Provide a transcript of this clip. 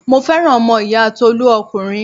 Mo fẹ́ràn ọmọ ìyá Tolú ọkùnrin.